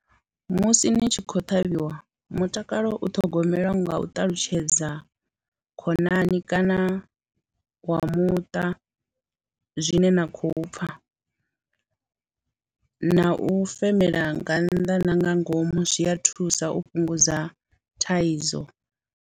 Musi ni tshi khou ṱhavhiwa mutakalo u ṱhogomelwa nga u ṱalutshedza khonani kana wa muṱa zwine na khou pfha na u femela nga nnḓa na nga ngomu zwi a thusa u fhungudza thaidzo.